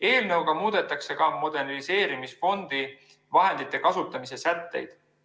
Eelnõuga muudetakse ka moderniseerimisfondi vahendite kasutamise sätteid.